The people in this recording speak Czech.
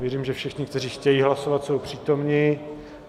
Věřím, že všichni, kteří chtějí hlasovat, jsou přítomni.